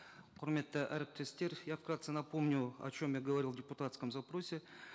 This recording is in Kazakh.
құрметті әріптестер я вкратце напомню о чем я говорил в депутатском запросе